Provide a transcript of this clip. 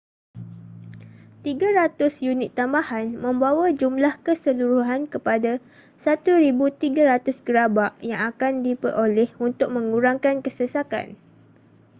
300 unit tambahan membawa jumlah keseluruhan kepada 1,300 gerabak yang akan diperoleh untuk mengurangkan kesesakan